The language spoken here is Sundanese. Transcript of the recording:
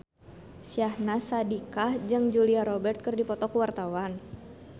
Syahnaz Sadiqah jeung Julia Robert keur dipoto ku wartawan